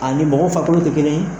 A ni mɔgɔ farikolo tɛ kelen ye